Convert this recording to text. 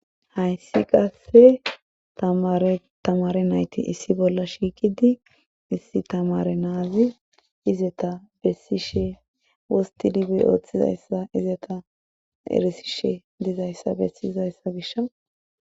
hayssi qasse tamaretamare nayti issi bolla shiiqidi issi tamare naazi izeta bessishe wosti dibi ooththizayssa izeta erisishe dizayssa bessiyizayssa gish